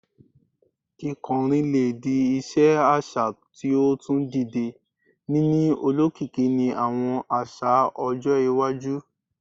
Kikọrin le di iṣe aṣa ti o tun dide, nini olokiki ni awọn aṣa-ọjọ iwaju